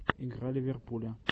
игра ливерпуля